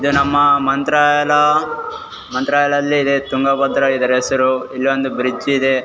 ಇದು ನಮ್ಮ ಮಂತ್ರಾಲಯ ಮಂತ್ರಾಲಯದಲ್ಲಿ ತುಂಗಭದ್ರ ಇದರ ಹೆಸರು ಇಲ್ಲೊಂದು ಬ್ರಿಡ್ಜ್ ಇದೆ.